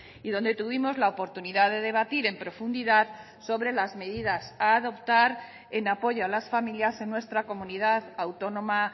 y donde tuvimos la oportunidad de debatir en profundidad sobre las medidas a adoptar en apoyo a las familias en nuestra comunidad autónoma